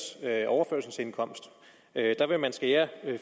overførselsindkomst der vil man skære